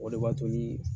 O de b'a to ni